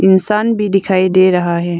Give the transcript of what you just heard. इंसान भी दिखाई दे रहा है।